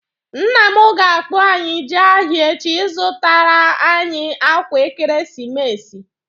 Nne m ga-akpọ anyị jee ahịa echi ị zụtara anyị akwa ekeresimesi